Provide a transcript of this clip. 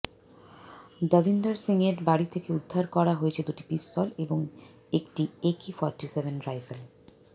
দাভিন্দর সিংয়ের বাড়ি থেকে উদ্ধার করা হয়েছে দুটি পিস্তল এবং একটি একে ফর্টি সেভেন রাইফেল